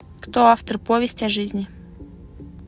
кто автор повесть о жизни